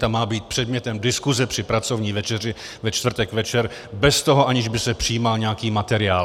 Ta má být předmětem diskuse při pracovní večeři ve čtvrtek večer bez toho, aniž by se přijímal nějaký materiál.